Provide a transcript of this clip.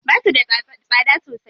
Basu da tsada sosai.